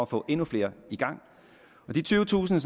får endnu flere i gang de tyvetusind